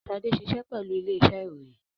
Shade ṣiṣẹ pẹlu ile-iṣẹ iroyin